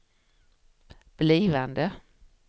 blivande